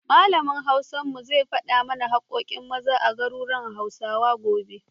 Malamin Hausar mu zai faɗa mana haƙƙoƙin Maza a garuruwan Hausawa, gobe.